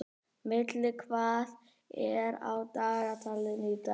Milla, hvað er á dagatalinu í dag?